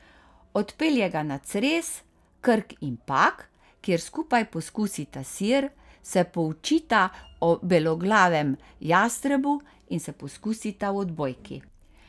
Odpelje ga na Cres, Krk in Pag, kjer skupaj poskusita sir, se poučita o beloglavem jastrebu in se poskusita v odbojki!